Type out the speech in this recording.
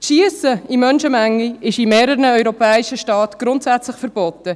Das Schiessen in Menschenmengen ist in mehreren europäischen Staaten grundsätzlich verboten.